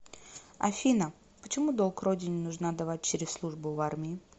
афина почему долг родине нужно отдавать через службу в армии